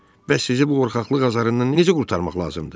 Bəs sizi bu qorxaqlıq azabından necə qurtarmaq lazımdır?